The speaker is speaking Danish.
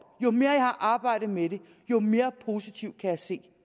jo mere jeg har arbejdet med det jo mere positivt kan jeg se